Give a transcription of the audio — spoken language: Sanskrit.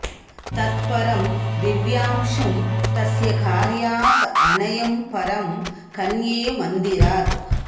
तत् परं दिव्यांशुं तस्य कार्यात् अनयम् परं कन्ये मन्दिरात्